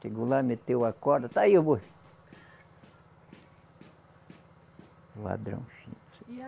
Chegou lá, meteu a corda, está aí o boi. Ladrão fino. E a